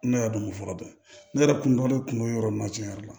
Ne yɛrɛ dun bɛ fɔlɔ dɛ ne yɛrɛ kun dɔ de kun don yɔrɔ min na tiɲɛ yɛrɛ la